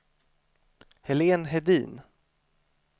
Helén Hedin